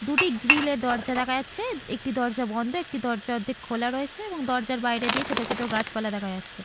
দুটি গ্রিল -এর দরজা দেখা যাচ্ছে। একটি দরজা বন্ধ একটি দরজা অর্ধেক খোলা রয়েছে এবং দরজার বাইরে দিয়ে ছোট ছোট গাছপালা দেখা যাচ্ছে।